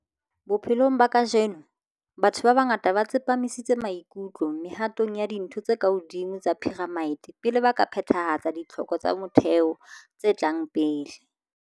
Bophelong ba kajeno, batho ba bangata ba tsepamisitse maikutlo mehatong ya dintho tse ka hodimo tsa phiramite pele ba ka phethahatsa ditlhoko tsa motheo tse tlang pele.